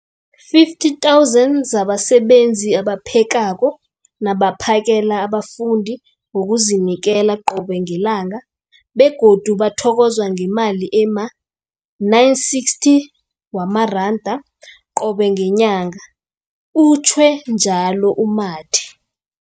50 000 zabasebenzi abaphekako nabaphakela abafundi ngokuzinikela qobe ngelanga, begodu bathokozwa ngemali ema-960 wamaranda qobe ngenyanga, utjhwe njalo u-Mathe.